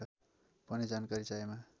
पनि जानकारी चाहिएमा